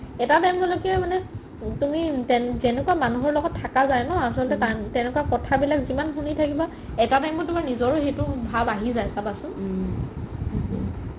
এটা time তো লৈকে মানে তুমি যেনেকুৱা মানুহৰ লগত থাকা যাই ন আছলতে তেনেকুৱা কথা বিলাক যিমান শুনি থাকিবা এটা time ত তুমাৰ নিজৰও সেইটো ভাব আহি যাই চাবা চোন